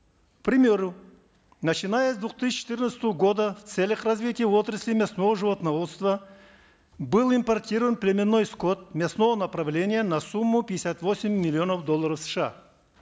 к примеру начиная с двух тысячи четырнадцатого года в целях развития отрасли мясного животноводства был импортирован племенной скот мясного направления на сумму пятьдесят восемь миллионов долларов сша